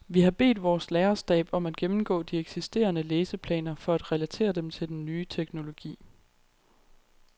Vi har bedt vores lærerstab om at gennemgå de eksisterende læseplaner for at relatere dem til den nye teknologi.